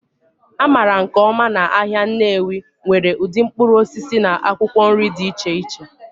A maara nke ọma na ahịa Nnewi nwere ụdị mkpụrụ osisi na akwụkwọ nri dị iche iche